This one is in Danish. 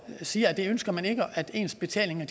siger at det ønsker man ikke at ens betalinger